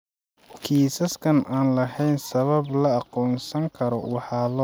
Kiisaska aan lahayn sabab la aqoonsan karo waxaa loo tixraaci karaa "idiopathic" PAH.